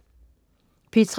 P3: